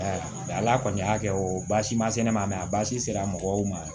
ala kɔni y'a kɛ o baasi ma se ne ma a baasi sera mɔgɔw ma